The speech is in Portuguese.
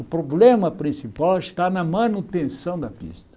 O problema principal está na manutenção da pista.